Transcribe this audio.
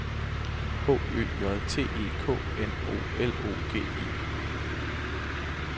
H Ø J T E K N O L O G I